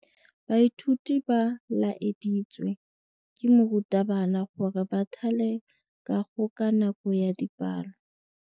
Baithuti ba laeditswe ke morutabana gore ba thale kagô ka nako ya dipalô.